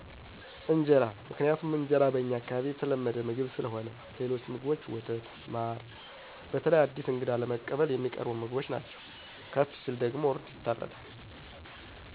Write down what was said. እንጀራ ምክንያቱም እንጀራ በእኛ አከባቢ የተለመደ ምግብ ስለሆነ ሌሎች ምግቦች፣ ወተት፣ ማር በተለይ አዲስ እንግዳ ለመቀበል የሚቀርቡ ምግቦች ነዎ ከፍ ሲል ደግሞ እርድ ይታረዳል